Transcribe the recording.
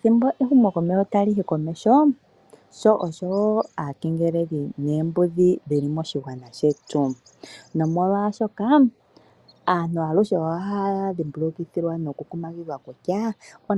Sho ehumoko tali ende lyu uka komeho, osho wo aakengeleli noombudhi dhi li moshigwana shetu , nomolwashoka aantu aluhe ohaya dhimbulukithwa nokukumagidhwa kutya